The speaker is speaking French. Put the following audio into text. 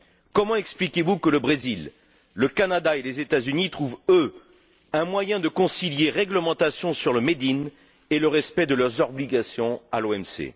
Comment expliquez vous que le Brésil, le Canada et les États Unis trouvent, eux, un moyen de concilier la réglementation sur le made in et le respect de leurs obligations envers l'OMC?